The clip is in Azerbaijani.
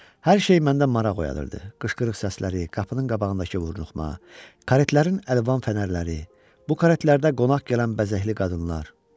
Hər şey məndə maraq oyadırdı: qışqırıq səsləri, qapının qabağındakı vurnuxma, karetlərin əlvan fənərləri, bu karetlərdə qonaq gələn bəzəkli qadınlar.